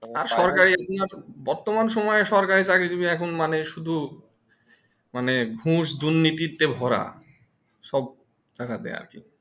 বর্তমান সময়ে সরকারি চাকরি জিবি এখন মানে সুদু মানে ঘুষ দুনীতিতে ভরা সব জাগাতে আর কি